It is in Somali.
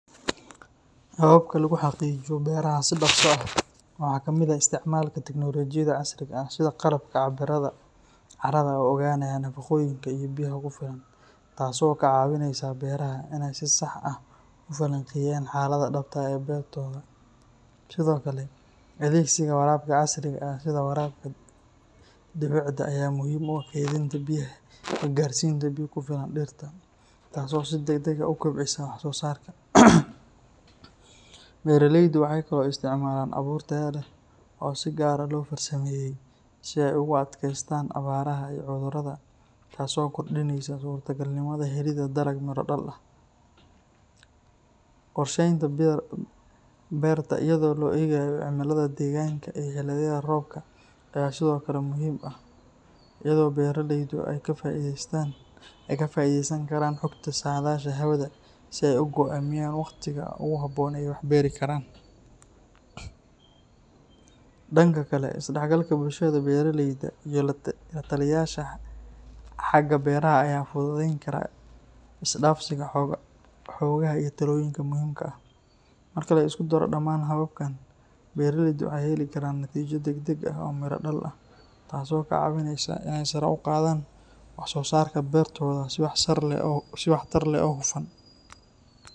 Hababka lagu xaqiijiyo beeraha si dhaqso ah waxa ka mid ah isticmaalka tignoolajiyada casriga ah sida qalabka cabbiraada carrada oo ogaanaya nafaqooyinka iyo biyaha ku filan, taasoo ka caawinaysa beeraleyda inay si sax ah u falanqeeyaan xaaladda dhabta ah ee beertooda. Sidoo kale, adeegsiga waraabka casriga ah sida waraabka dhibicda ayaa muhiim u ah kaydinta biyaha iyo gaarsiinta biyo ku filan dhirta, taasoo si degdeg ah u kobcisa wax-soosaarka. Beeraleydu waxay kaloo isticmaalaan abuur tayo leh oo si gaar ah loo farsameeyey si ay ugu adkaystaan abaaraha iyo cudurrada, taasoo kordhinaysa suurtagalnimada helidda dalag miro dhal ah. Qorsheynta beerta iyadoo loo eegayo cimillada deegaanka iyo xilliyada roobka ayaa sidoo kale muhiim ah, iyadoo beeraleydu ay ka faa'iideysan karaan xogta saadaasha hawada si ay u go’aamiyaan waqtiga ugu habboon ee ay wax beeri karaan. Dhanka kale, is-dhexgalka bulshada beeraleyda iyo la-taliyeyaasha xagga beeraha ayaa fududeyn kara isdhaafsiga xogaha iyo talooyinka muhiimka ah. Marka la isku daro dhammaan hababkan, beeraleydu waxay heli karaan natiijo degdeg ah oo miro-dhal ah, taasoo ka caawinaysa inay sare u qaadaan wax-soosaarka beertooda si waxtar leh oo hufan.